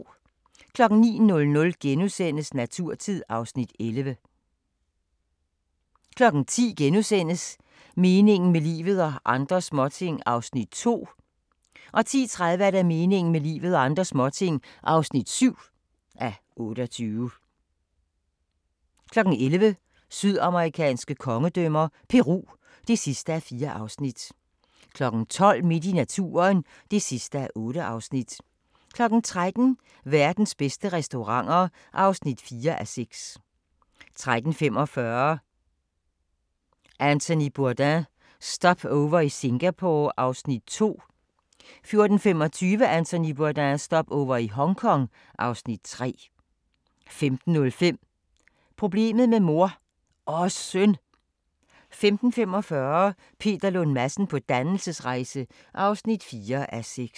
09:00: Naturtid (Afs. 11)* 10:00: Meningen med livet – og andre småting (2:28)* 10:30: Meningen med livet – og andre småting (7:28) 11:00: Sydamerikanske kongedømmer – Peru (4:4) 12:00: Midt i naturen (8:8) 13:00: Verdens bedste restauranter (4:6) 13:45: Anthony Bourdain - Stopover i Singapore (Afs. 2) 14:25: Anthony Bourdain – Stopover i Hongkong (Afs. 3) 15:05: Problemet med mor – og søn! 15:45: Peter Lund Madsen på dannelsesrejse (4:6)